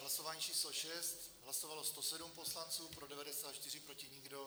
Hlasování číslo 6, hlasovalo 107 poslanců, pro 94, proti nikdo.